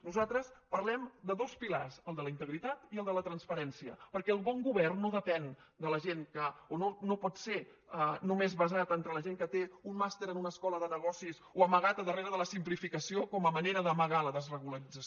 nosaltres parlem de dos pilars el de la integritat i el de la transparència perquè el bon govern no depèn de la gent no pot ser només basat entre la gent que té un màster en una escola de negocis o amagat a darrere de la simplificació com a manera d’amagar la desregularització